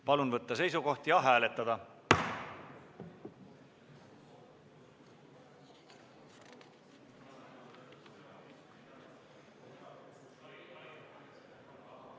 Palun võtta seisukoht ja hääletada!